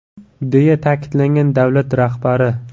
)”, deya ta’kidlagan davlat rahbari.